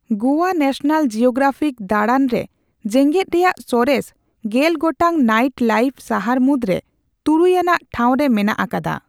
Goa National Geographic ᱫᱟᱲᱟᱱᱨᱮ ᱡᱮᱸᱜᱮᱫ ᱨᱮᱭᱟᱜ ᱥᱚᱨᱮᱥ ᱜᱮᱞ ᱜᱚᱴᱟᱝ ᱱᱟᱹᱭᱤᱴ ᱞᱟᱹᱭᱤᱯᱷ ᱥᱟᱦᱟᱨ ᱢᱩᱫᱽᱨᱮ ᱛᱩᱨᱩᱭ ᱟᱱᱟᱜ ᱴᱷᱟᱣ ᱨᱮ ᱢᱮᱱᱟᱜ ᱟᱠᱟᱫᱟ ᱾